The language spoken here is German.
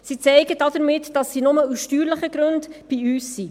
Sie zeigen damit, dass sie nur aus steuerlichen Gründen bei uns sind.